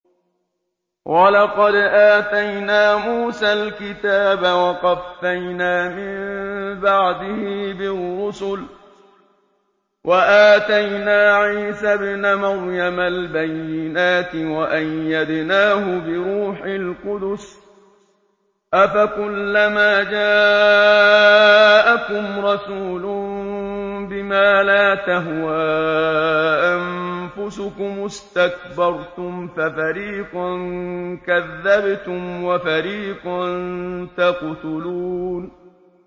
وَلَقَدْ آتَيْنَا مُوسَى الْكِتَابَ وَقَفَّيْنَا مِن بَعْدِهِ بِالرُّسُلِ ۖ وَآتَيْنَا عِيسَى ابْنَ مَرْيَمَ الْبَيِّنَاتِ وَأَيَّدْنَاهُ بِرُوحِ الْقُدُسِ ۗ أَفَكُلَّمَا جَاءَكُمْ رَسُولٌ بِمَا لَا تَهْوَىٰ أَنفُسُكُمُ اسْتَكْبَرْتُمْ فَفَرِيقًا كَذَّبْتُمْ وَفَرِيقًا تَقْتُلُونَ